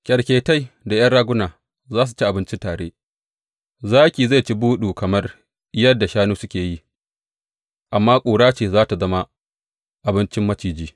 Kyarketai da ’yan raguna za su ci abinci tare, zaki kuma zai ci buɗu kamar yadda shanu suke yi, amma ƙura ce za tă zama abincin maciji.